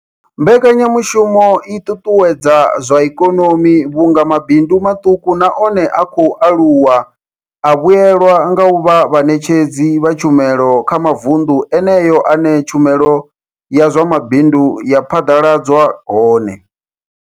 Mbekanya mushumo i ṱuṱuwedza zwa ikonomi vhunga mabindu maṱuku na one a khou aluwa a vhuelwa nga u vha vhaṋetshedzi vha tshumelo kha mavundu eneyo ane tshumelo ya zwa mabindu ya phaḓaladzwa hone.